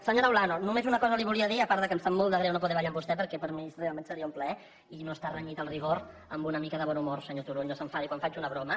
senyora olano només una cosa li volia dir a part que em sap molt de greu no poder ballar amb vostè perquè per a mi realment seria un plaer i no està renyit el rigor amb una mica de bon humor senyor turull no s’enfadi quan faig una broma